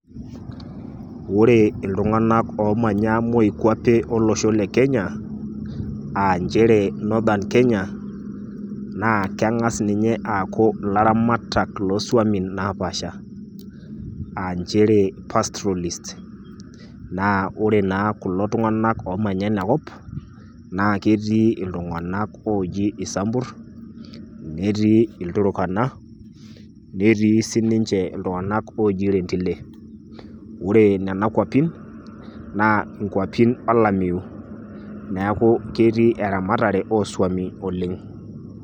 ore iltunganak omanaya moikwape olosho le kenya aa nchere northern kenya, naakenga ninye aaku ilaramatak loswami naapaasha ,aa nchere pastrolists .naa ore naa kuna tunganak omanya ina kop naa ketii iltunganak oji isambur, netii ilturkana ,netii siniche iltunganak oji rendile. ore nena kwapin naa kwapin olameyu neeku ketii eramatare oswami oleng.